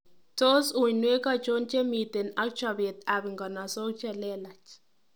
Tos, uinwek achon chemiten an chobeet ab nganasok chelelach..